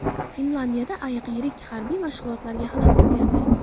Finlyandiyada ayiq yirik harbiy mashg‘ulotlarga xalaqit berdi.